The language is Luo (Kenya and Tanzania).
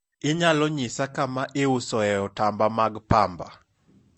inyalo nyisa kama iusoe otamba mag pamba?